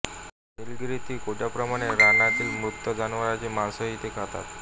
नीलगिरीतील कोटांप्रमाणे रानातल्या मृत जनावरांचे मांसही ते खातात